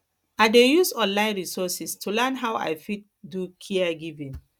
i dey use online resources to learn how i fit do caregiving